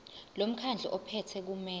lomkhandlu ophethe kumele